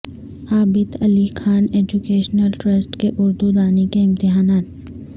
عابد Ali Khan educational trust کے اردو دانی کے امتحانات